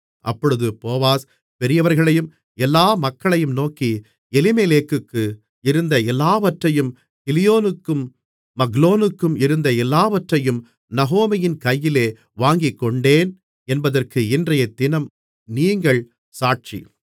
அப்பொழுது போவாஸ் பெரியவர்களையும் எல்லா மக்களையும் நோக்கி எலிமெலேக்குக்கு இருந்த எல்லாவற்றையும் கிலியோனுக்கும் மக்லோனுக்கும் இருந்த எல்லாவற்றையும் நகோமியின் கையிலே வாங்கிக்கொண்டேன் என்பதற்கு இன்றையதினம் நீங்கள் சாட்சி